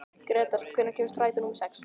Gretar, hvenær kemur strætó númer sex?